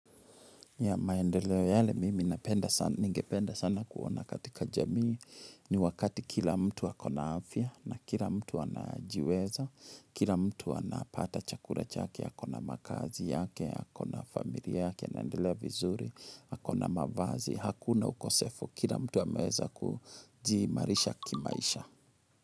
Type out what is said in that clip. Ya maendeleo yale mimi napenda sana ningependa sana kuona katika jamii ni wakati kila mtu akona afya na kila mtu anajiweza, kila mtu anapata chakula chake, akona makazi yake, akona familia yake anaendelea vizuri, akona mavazi, hakuna ukosefu kila mtu ameweza kujiimarisha kimaisha.